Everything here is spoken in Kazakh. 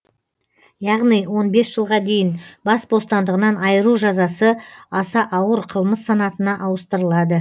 яғни он бес жылға дейін бас бостандығынан айыру жазасы аса ауыр қылмыс санатына ауыстырылады